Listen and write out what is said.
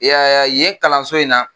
E y'a ye ya yen kalanso in na.